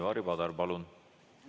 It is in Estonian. Ivari Padar, palun!